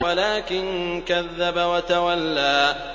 وَلَٰكِن كَذَّبَ وَتَوَلَّىٰ